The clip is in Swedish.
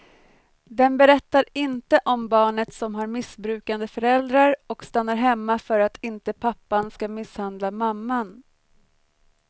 Den berättar inte om barnet som har missbrukande föräldrar och stannar hemma för att inte pappan ska misshandla mamman.